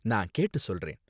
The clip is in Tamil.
நான் கேட்டு சொல்றேன்